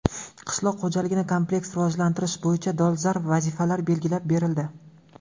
Qishloq xo‘jaligini kompleks rivojlantirish bo‘yicha dolzarb vazifalar belgilab berildi.